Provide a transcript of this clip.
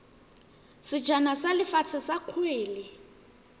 sejana sa lefatshe sa kgwele